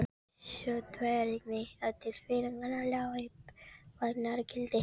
Sú tvídrægni tilfinninganna lá í þagnargildi.